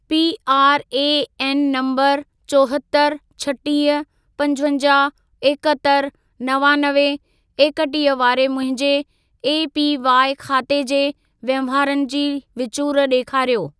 PRAN number चोहतरि, छटीह, पंजवंजाहु, एकहतरि, नवानवे, एकटीह वारे मुंहिंजे एपीवाई ख़ाते जे वहिंवारनि जी विचूर ॾेखारियो।